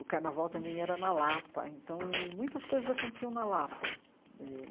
O carnaval também era na Lapa, então muitas coisas aconteciam na Lapa eh.